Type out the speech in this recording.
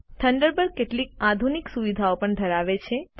Thunderbird કેટલીક આધુનિક સુવિધાઓ પણ ધરાવે છે